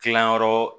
Tilanyɔrɔ